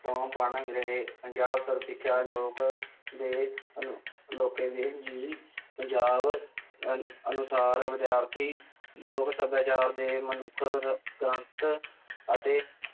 ਤੋਂ ਬਣ ਰਹੇ ਪੰਜਾਬ ਸਰਵ ਸਿੱਖਿਆ ਲੋਕ ਦੇ ਅਨੁ~ ਇਲਾਕੇ ਦੀ ਜੀਅ ਪੰਜਾਬ ਅਨੁ~ ਅਨੁਸਾਰ ਵਿਦਿਆਰਥੀ ਲੋਕ ਸੱਭਿਆਚਾਰ ਦੇ ਅਤੇ